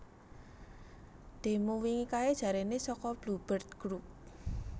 Demo wingi kae jarene soko Blue Bird Group